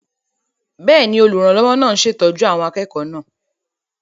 Bẹ́ẹ̀ni, olùrànlọ́wọ́ náà ń ṣètọ́jú àwọn akẹ́kọ̀ọ́ náà